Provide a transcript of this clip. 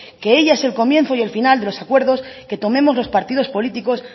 que ellas es el comienzo y el final de los acuerdos que tomemos los partidos políticos